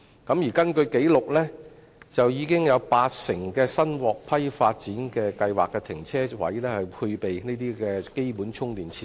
根據紀錄，已經有八成新獲批發展計劃的停車位配備基本充電設施。